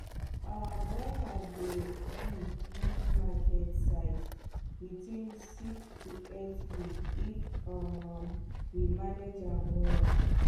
our boiler dey big reach market size within six to eight week if um we manage am well